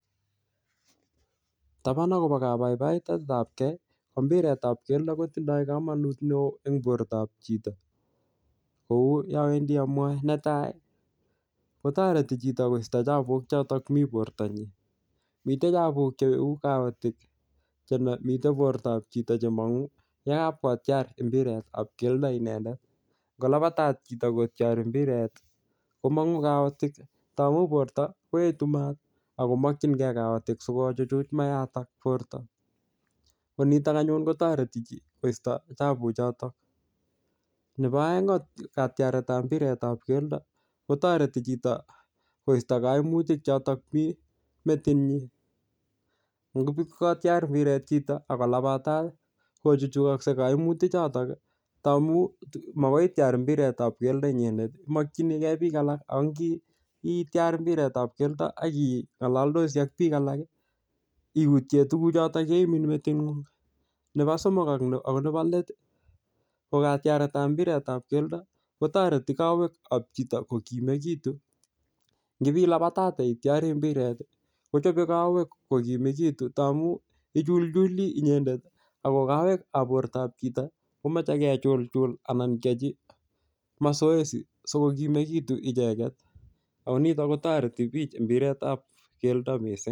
Taban akobo kabaibaetabke ko mbiretab keldo kotinye kelchin en bortab chi. Kouu yeawendi amwae. Netai ih kotareti koista chabuk choto mi borto nyin, miten chabuk cheuu kaotik, miten bortab chito chemangu yekabkotiar imbiretab kelda inendet. Ingo labatat chito kotiari imbiret komang'unet kaotik. Lang'u borta komang'unet maat akomakienge kaotik siko chuchuch maaton. Koniton anyuun kotareti koista chabuk choton, neba aeng en imbiret tab katiaretab keldo kotareti koiste kaimutik en chito. Ingibokotir mbiret akolabatat ih kochuchuchakse kaimutik en metit nyin. Ngamun magoitiar imbiret inyegen imakyinige bik alak. Ak itiar mbiret ak ih ng'alatosi ak bik alak ih iutie tuguk choto cheimin meting'ung. Nebo somok ak nebo let ih ko katiaretab mbiret ko tareti kawek kab chito kokimegitu. Ngibilabatate itiari mbiret ih kotebie kawek kogimegitu tamuu. Ih ichulchuli inyendet ako kaweg kab bortab chito komache kechulchul anan keachi mazoezi asikobit sigokimegitu icheket Ako nito kotareti bik imbiretab kelda missing.